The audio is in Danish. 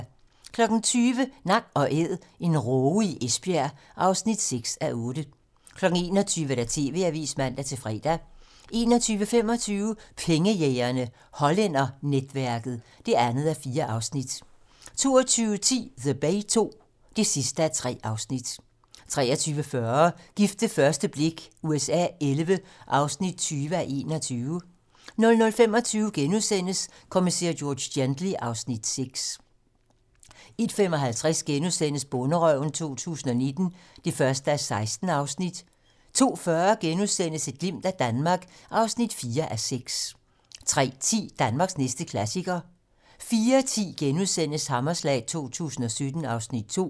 20:00: Nak & æd - en råge i Esbjerg (6:8) 21:00: TV-Avisen (man-fre) 21:25: Pengejægerne - Hollændernetværket (2:4) 22:10: The Bay II (3:3) 23:40: Gift ved første blik USA XI (20:21) 00:25: Kommissær George Gently (Afs. 6)* 01:55: Bonderøven 2019 (1:16)* 02:40: Et glimt af Danmark (4:6)* 03:10: Danmarks næste klassiker 04:10: Hammerslag 2017 (Afs. 2)*